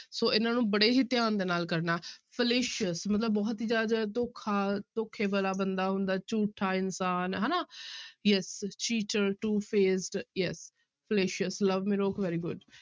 ਸੋ ਇਹਨਾਂ ਨੂੰ ਬੜੇ ਹੀ ਧਿਆਨ ਦੇ ਨਾਲ ਕਰਨਾ fallacious ਮਤਲਬ ਬਹੁਤ ਹੀ ਜ਼ਿਆਦਾ ਜਿਹੜਾ ਧੋਖਾ ਧੋਖੇ ਵਾਲਾ ਬੰਦਾ ਹੁੰਦਾ, ਝੂਠਾ ਇਨਸਾਨ ਹਨਾ yes cheater, two-faced yes fallacious very good